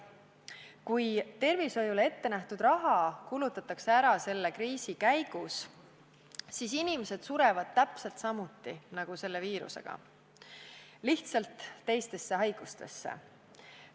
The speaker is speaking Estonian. Kui tervishoiule ette nähtud raha kulutatakse ära selle kriisi käigus, siis inimesed surevad täpselt samuti, nagu sureksid selle viiruse tõttu, aga lihtsalt teistesse haigustesse.